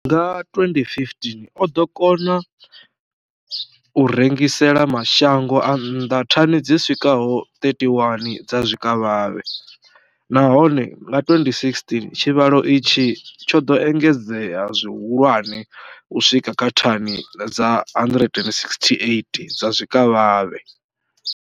Nga 2015, o ḓo kona u rengisela mashango a nnḓa thani dzi swikaho 31 dza zwikavhavhe, nahone nga 2016 tshivhalo itshi tsho ḓo engedzea zwihulwane u swika kha thani dza 168 dza zwikavhavhe.